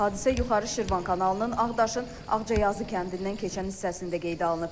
Hadisə yuxarı Şirvan kanalının Ağdaşın Ağcazı kəndindən keçən hissəsində qeydə alınıb.